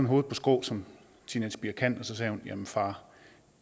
hovedet på skrå som teenagepiger kan og sagde jamen far